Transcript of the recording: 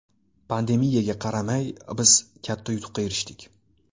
Pandemiyaga qaramay, biz katta yutuqqa erishdik.